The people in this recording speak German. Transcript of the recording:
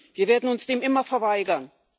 wir werden uns dem immer verweigern.